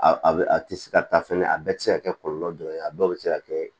A a bɛ a tɛ se ka taa fɛnɛ a bɛɛ tɛ se ka kɛ kɔlɔlɔ dɔ ye a dɔw bɛ se ka kɛ